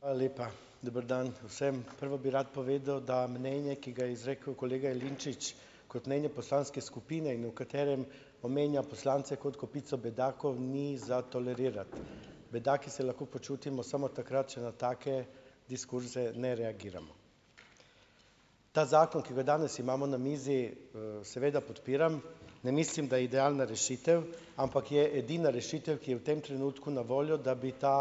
Hvala lepa. Dober dan vsem. Prvo bi rad povedal, da mnenje, ki ga je izrekel kolega Jelinčič kot mnenje poslanske skupine in v katerem omenja poslance kot kupico bedakov, ni za tolerirati. Bedaki se lahko počutimo samo takrat, če na take diskurze ne reagiramo. Ta zakon, ki ga danes imamo na mizi, seveda podpiram, ne mislim, da je idealna rešitev, ampak je edina rešitev, ki je v tem trenutku na voljo, da bi ta,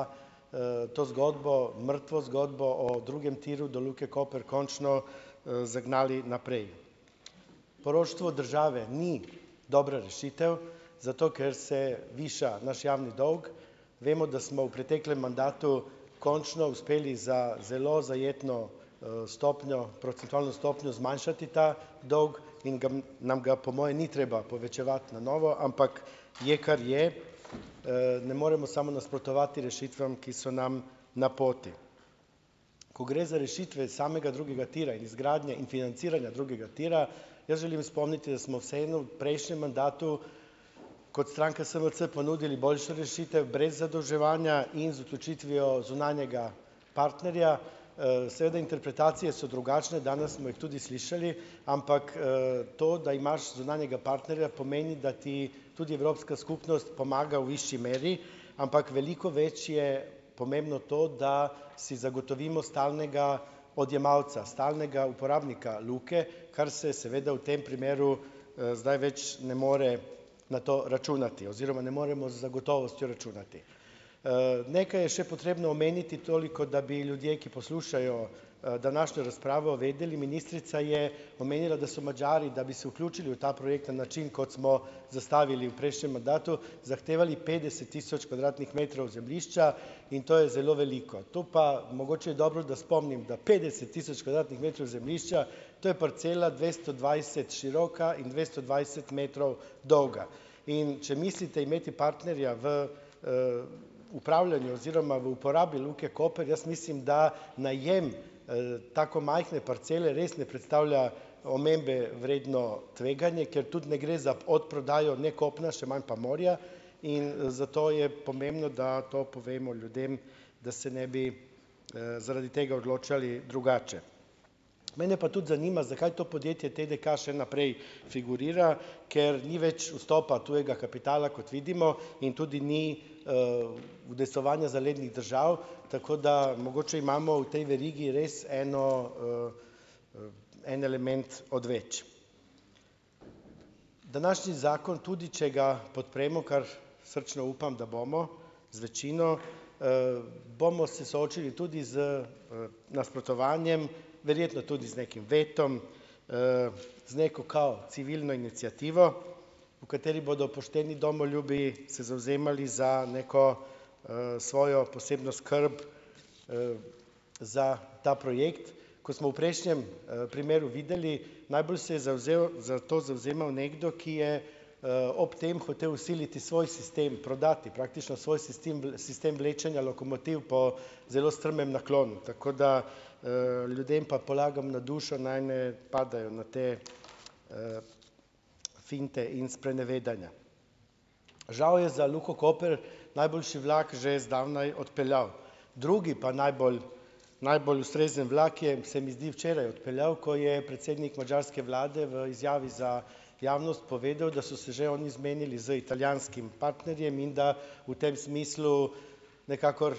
to zgodbo, mrtvo zgodbo o drugem tiru do Luke Koper končno, zagnali naprej. Poroštvo države ni dobra rešitev, zato ker se viša naš javni dolg. Vemo, da smo v preteklem mandatu končno uspeli za zelo zajetno, stopnjo, procentualno stopnjo zmanjšati ta dolg in ga nam ga po moje ni treba povečevati na novo, ampak je, kar je. ne moremo samo nasprotovati rešitvam, ki so nam na poti. Ko gre za rešitve iz samega drugega tira in iz gradnje in financiranja drugega tira, jaz želim spomniti, da smo vseeno prejšnjem mandatu kot stranka SMC ponudili boljšo rešitev brez zadolževanja in z odločitvijo zunanjega partnerja. seveda interpretacije so drugačne, danes smo jih tudi slišali, ampak, to, da imaš zunanjega partnerja, pomeni, da ti tudi Evropska skupnost pomaga v višji meri , ampak veliko več je pomembno to, da si zagotovimo stalnega odjemalca. Stalnega uporabnika Luke, kar se seveda v tem primeru, zdaj več ne more na to računati. Oziroma ne moremo z gotovostjo računati. nekaj je še potrebno omeniti, toliko, da bi ljudje, ki poslušajo, današnjo razpravo vedeli. Ministrica je omenila, da so Madžari, da bi se vključili v ta projekt na način, kot smo zastavili v prejšnjem mandatu, zahtevali petdeset tisoč kvadratnih metrov zemljišča in to je zelo veliko. Tu pa mogoče je dobro, da spomnim, da petdeset tisoč kvadratnih metrov zemljišča, to je parcela dvesto dvajset široka in dvesto dvajset metrov dolga. In če mislite imeti partnerja v, upravljanju oziroma v uporabi Luke Koper, jaz mislim, da najem, tako majhne parcele res ne predstavlja omembe vredno tveganje, ker tudi ne gre za odprodajo ne kopna, še manj pa morja. In, zato je pomembno, da to povemo ljudem, da se ne bi, zaradi tega odločali drugače. Mene pa tudi zanima, zakaj to podjetje TDK še naprej figurira, ker ni več vstopa tujega kapitala, kot vidimo, in tudi ni, udejstvovanja zalednih držav. Tako da, mogoče imamo v tej verigi res eno, en element odveč. Današnji zakon, tudi če ga podpremo, kar srčno upam, da bomo z večino, bomo se soočili tudi z, nasprotovanjem, verjetno tudi z nekim vetom, z neko, kao, civilno iniciativo, v kateri bodo pošteni domoljubi se zavzemali za neko, svojo posebno skrb, za ta projekt. Kot smo v prejšnjem, primeru videli, najbolj se je zavzel za to, zavzemal nekdo, ki je, ob tem hotel vsiliti svoj sistem, prodati praktično svoj sistem vlečenja lokomotiv po zelo strmem naklonu. Tako da, ljudem pa polagam na dušo, naj ne padajo na te, finte in sprenevedanja. Žal je za Luko Koper najboljši vlak že zdavnaj odpeljal. Drugi pa najbolj, najbolj ustrezen vlak je, se mi zdi, včeraj odpeljal, ko je predsednik madžarske vlade v izjavi za javnost povedal, da so se že oni zmenili z italijanskim partnerjem in da v tem smislu nikakor,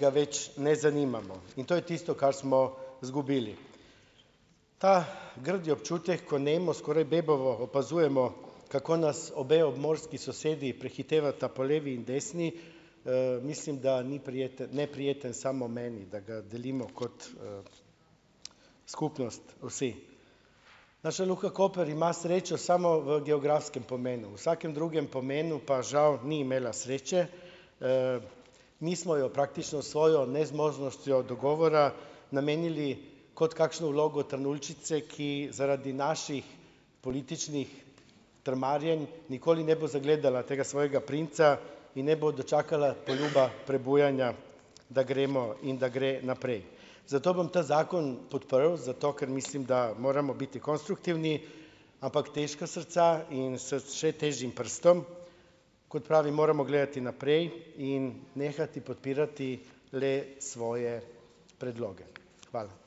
ga več ne zanimamo. In to je tisto, kar smo izgubili. Ta grdi občutek, ko nemo, skoraj bebavo opazujemo, kako nas obe obmorski sosedi prehitevata po levi in desni, mislim, da ni prijeten, neprijeten samo meni, da ga delimo kot, skupnost vsem. Naša Luka Koper ima srečo samo v geografskem pomenu. V vsakem drugem pomenu pa žal ni imela sreče. mi smo jo praktično svojo nezmožnostjo dogovora namenili kot kakšno vlogo Trnuljčice, ki zaradi naših političnih trmarjenj nikoli ne bo zagledala tega svojega princa in ne bo dočakala poljuba prebujanja, da gremo in da gre naprej. Zato bom ta zakon podprl, zato ker mislim, da moramo biti konstruktivni, ampak težka srca in s še težjim prstom, kot pravim, moramo gledati naprej in nehati podpirati le svoje predloge. Hvala.